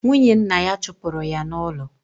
Nwunye nna ya chụpụrụ ya n'ụlọ.